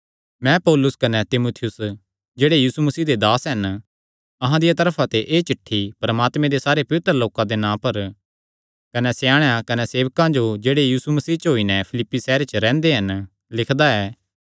मैं पौलुस कने तीमुथियुस जेह्ड़े यीशु मसीह दे दास हन अहां दिया तरफा ते एह़ चिठ्ठी परमात्मे सारे पवित्र लोकां दे नां पर कने स्याणेयां कने सेवकां जो जेह्ड़े यीशु मसीह च होई नैं फिलिप्पी सैहरे च रैंह्दे हन लिखदा ऐ